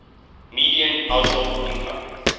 median household income